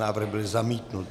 Návrh byl zamítnut.